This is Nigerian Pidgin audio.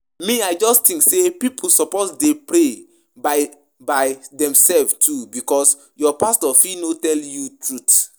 Me I just think say people suppose dey pray by by themselves too because your pastor fit no tell you truth